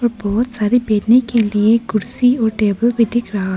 और बहुत सारे बैठने के लिए कुर्सी और टेबल भी दिख रहा।--